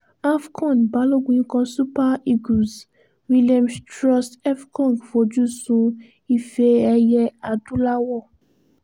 af con balogun ikọ̀ super eagles williams troost ekong fojú sun ife ẹ̀yẹ adúláwò